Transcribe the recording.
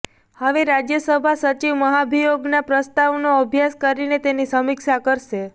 હવે રાજ્યસભા સચિવ મહાભિયોગનાં પ્રસ્તાવનો અભ્યાસ કરીને તેની સમીક્ષા કરશે